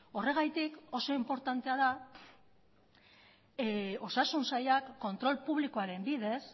horregatik oso inportantea da osasun sailak kontrol publikoaren bidez